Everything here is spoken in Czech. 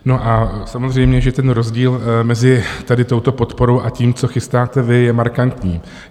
No a samozřejmě, že ten rozdíl mezi tady touto podporou a tím, co chystáte vy, je markantní.